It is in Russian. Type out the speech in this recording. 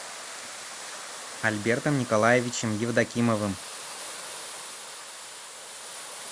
альбертом николаевичем евдокимовым